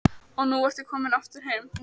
Og nú ertu komin aftur heim?